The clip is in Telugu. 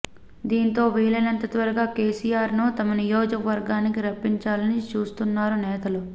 దీంతో వీలైనంత త్వరగా కేసీఆర్ను తమ నియోజకవర్గానికి రప్పించాలని చూస్తున్నారు నేతలు